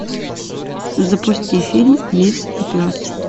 запусти фильм лис и пес